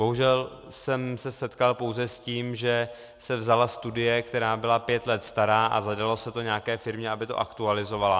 Bohužel jsem se setkal pouze s tím, že se vzala studie, která byla pět let stará, a zadalo se to nějaké firmě, aby to aktualizovala.